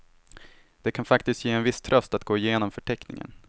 Det kan faktiskt ge en viss tröst att gå igenom förteckningen.